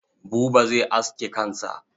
Buba zai aske kansa.